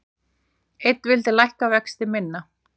Einn vildi lækka vexti minna